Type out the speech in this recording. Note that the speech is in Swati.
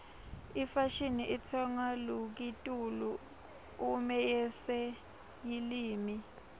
ifashini itsenqwa luakitulu umeyeseyilimi